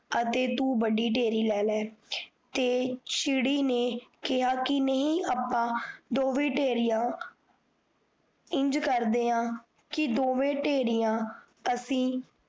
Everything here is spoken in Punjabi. ਅਤੇ ਤੂ ਵੱਡੀ ਟੇਰੀ ਲੈ ਲੈ ਤੇ ਚਿੜੀ ਨੇ, ਕੇਹਾ ਕੀ, ਨਹੀ ਆਪਾਂ, ਦੋਵੇ ਢੇਰੀਆਂ, ਇੰਜ ਕਰਦੇ ਹਾਂ, ਕੀ ਦੋਵੇਂ ਢੇਰੀਆਂ ਅਸੀੰ